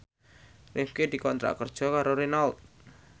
Rifqi dikontrak kerja karo Renault